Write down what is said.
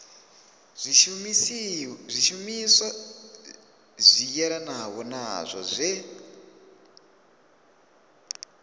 zwishumiswa zwi yelanaho nazwo zwe